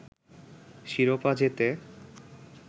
শিরোপা জেতে